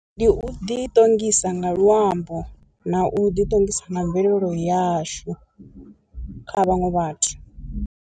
Ndi u ḓi ṱongisa nga luambo na u ḓi ṱongisa na mvelelo yashu kha vhaṅwe vhathu.